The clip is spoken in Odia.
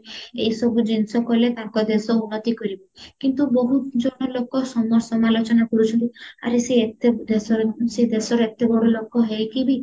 ଏଇ ସବୁ ଜିନିଷ କାଲେ ତାଙ୍କ ଦେଶ ଉନ୍ନତି କରିବା କିନ୍ତୁ ବହୁତ ଜଣ ଲୋକ ସମାଲୋଚନା କରୁଛନ୍ତି ଆରେ ସେ ଏତେ ଦେଶରେ ସେ ଦେଶରେ ଏତେ ବଡ ଲୋକ ହେଇକି ବି